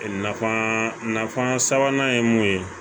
Nafan nafan sabanan ye mun ye